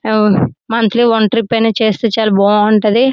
Monthly one trip అయినా చేస్తే బాగుంటుంది.